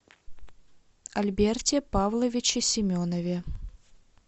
альберте павловиче семенове